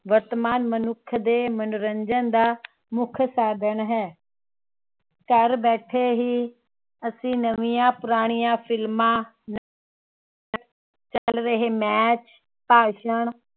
ਵਰਤਮਾਨ ਮਨੁੱਖ ਦੇ ਮਨੋਰੰਜਨ ਦਾ ਮੁੱਖ ਸਾਧਣ ਹੈ